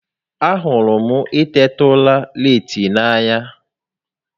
A hụrụ m i teta ura leeti n'anya